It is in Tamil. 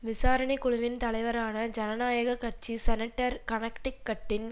விசாரணை குழுவின் தலைவரான ஜனநாயக கட்சி செனட்டர் கனக்டிக்கட்டின்